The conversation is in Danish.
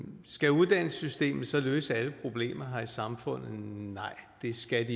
skal uddannelsessystemet så løse alle problemer her i samfundet nej det skal